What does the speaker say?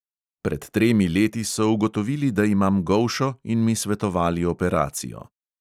Pred tremi leti so ugotovili, da imam golšo, in mi svetovali operacijo.